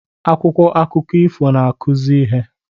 akwụkwọ akụkọ ifo na-akụzi ihe